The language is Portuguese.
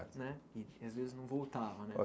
Né e às vezes não voltava, né?